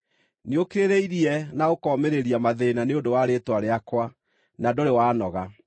Nĩũkirĩrĩirie na ũkomĩrĩria mathĩĩna nĩ ũndũ wa rĩĩtwa rĩakwa, na ndũrĩ wanoga.